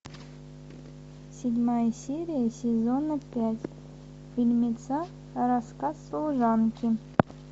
седьмая серия сезона пять фильмеца рассказ служанки